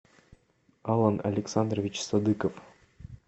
алан александрович садыков